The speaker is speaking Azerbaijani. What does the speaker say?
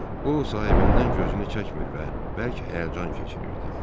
O sahibindən gözünü çəkmir və bərk həyəcan keçirirdi.